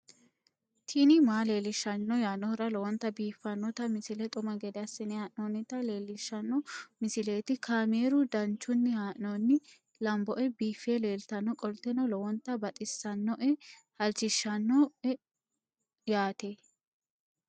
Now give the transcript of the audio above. tini maa leelishshanno yaannohura lowonta biiffanota misile xuma gede assine haa'noonnita leellishshanno misileeti kaameru danchunni haa'noonni lamboe biiffe leeeltannoqolten lowonta baxissannoe halchishshanno yaate